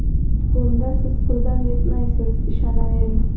Bunda Siz puldan yutmaysiz, ishonavering!